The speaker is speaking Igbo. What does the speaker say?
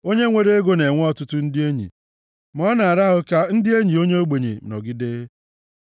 Onye nwere ego na-enwe ọtụtụ ndị enyi, ma ọ na-ara ahụ ka ndị enyi onye ogbenye nọgide.